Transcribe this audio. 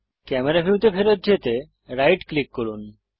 camera ভিউতে ফেরত যেতে রাইট ক্লিক করুন